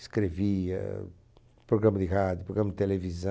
Escrevia, programa de rádio, programa de televisão.